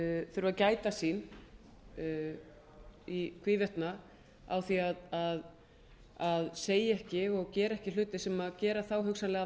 þurfa að gæta sín í hvívetna á því að segja ekki og gera ekki hluti sem gera þá hugsanlega